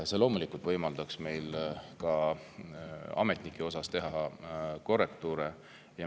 Loomulikult võimaldaks see meil ka ametnike osas korrektuure teha.